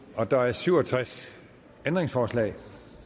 der er syv og tres ændringsforslag